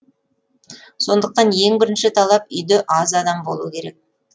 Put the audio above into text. сондықтан ең бірінші талап үйде аз адам болу керек